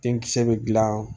Denkisɛ bɛ gilan